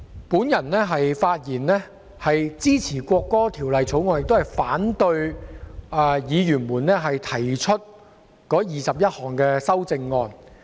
主席，我發言支持《國歌條例草案》，並反對議員提出的21項修正案。